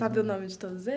Sabe o nome de todos